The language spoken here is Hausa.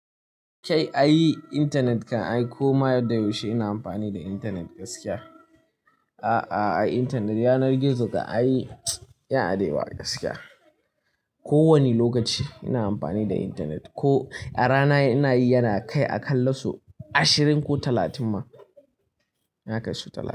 Kai, ayi internet kan aiko ma da yaushe ina amfani da internet gaskiya. A'a, a'a, ayi internet yanar gizo kam ai ayi, yan adewa gaskiya. Ko wani lokaci ina amfani da internet. Ko a rana ina yi yana kai a kalla su ashirin ko talatin ma. Yana kai su talatin.